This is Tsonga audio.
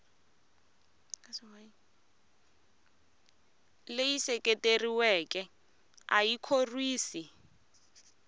leyi seketeriweke a yi khorwisi